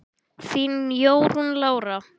Þín Jórunn Lára.